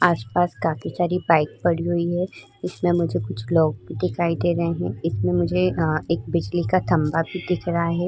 आस-पास काफी सारी बाइक पड़ी हुई हैं। इसमें मुझे कुछ लोग भी दिखाई दे रहे हैं। इसमें मुझे एक बिजली का खंबा भी दिख रहा है।